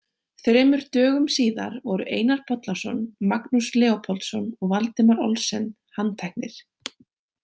Þremur dögum síðar voru Einar Bollason, Magnús Leópoldsson og Valdimar Olsen handteknir.